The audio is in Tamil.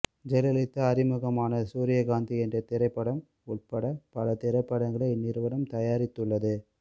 ஜெயலலிதா அறிமுகமான சூரியகாந்தி என்ற திரைப்படம் உள்பட பல திரைப்படங்களை இந்நிறுவனம் தயாரித்துள்ளது